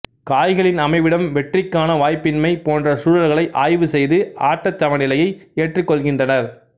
காய்களின் அமைவிடம் வெற்றிக்கான வாய்ப்பின்மை போன்ற சூழல்களை ஆய்வு செய்து ஆட்ட சமநிலையை ஏற்றுக் கொள்கின்றனர்